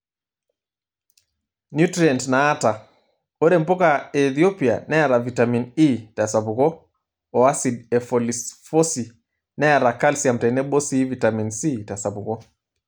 Nutrient naata:Ore mpuka e Ethopia neeta Vitamin E tesapuko oo asid e folifosi, neata calcium tenebo sii vitamin C tesapuko.